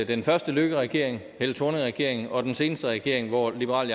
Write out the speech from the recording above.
den første løkkeregering helle thorning regeringen og den seneste regering hvor liberal